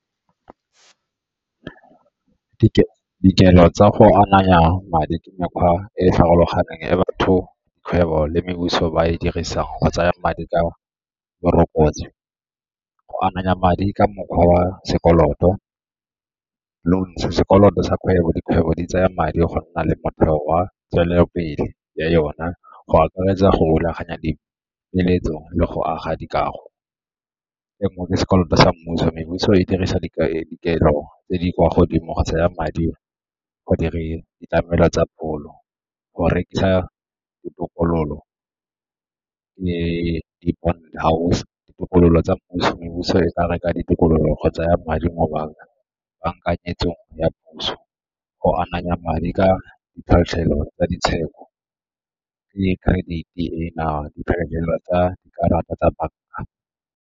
Dikelo tsa go ananya madi ke mekgwa e e farologaneng e batho, kgwebo le ba e dirisang go tsaya madi ka . Go ananya madi ka mokgwa wa sekoloto, loan, sekoloto sa kgwebo dikgwebo di tsaya madi go nna le motheo wa tswelelopele ya yona go akaretsa go rulaganya dipeeletso le go aga dikago. E nngwe ke sekoloto sa mmuso e dirisa dikelo tse di kwa godimo go tsaya madi go ditlamelo tsa pholo, go rekisa ditokololo ke di-bond house, ditokololo tsa puso, e ka reka ditikologo kgotsa ya madi mo ya puso, go ananya madi ka tsa ditshwetso le credit-e ena tsa dikarata tsa banka.